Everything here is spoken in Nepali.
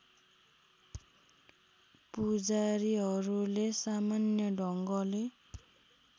पुजारीहरूले सामान्य ढङ्गले